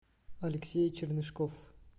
алексей чернышков